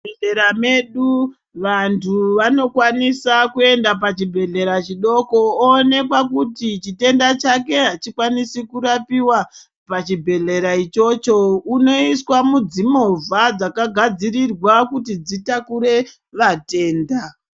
Muzvibhedhlera medu, vantu vanokwanisa kuenda pachibhedhlera chidoko, oonekwa kuti chitenda chake achikwanisi kurapiwa pachibhedhlera ichocho, unoiswa mudzimovha dzakagadzirirwa kuti dzitakure vatenda.